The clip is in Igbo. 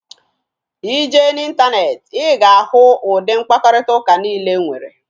Ị jee n'ịntaneetị, ị ga-ahụ ụdị mkparịtaụka niile e nwere